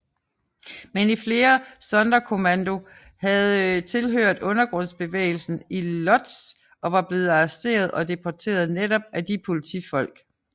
Men flere i Sonderkommando havde tilhørt undergrundsbevægelsen i Łódź og var blevet arresteret og deporteret netop af de politifolk